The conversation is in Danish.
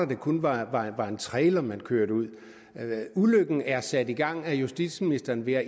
det kun var en trailer man kørte ud ulykken er sat i gang af justitsministeren ved at